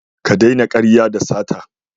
Ka daina karya da sata.